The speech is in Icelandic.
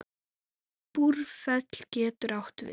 Búrfell getur átt við